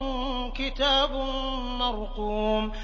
كِتَابٌ مَّرْقُومٌ